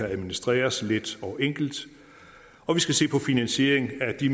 administreres let og enkelt og vi skal se på finansieringen af de